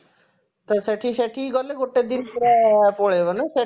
ତ ସେଠି ସେଠିକି ଗଲେ ଗୋଟେ ଦିନ ପୁରା ପଳେଇବ ନା ସେଠି